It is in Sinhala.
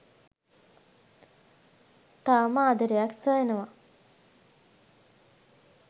තවම ආදරයක්‌ සොයනවා